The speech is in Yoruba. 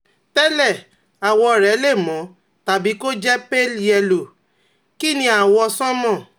Tẹ́lẹ̀, àwọ̀ rẹ̀ le mọ́ tàbí kó jẹ́ pale yẹ́lò, kìí ní àwọ̀ sánmà